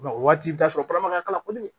O waati i bi t'a sɔrɔ kalama ka k'a la kɔni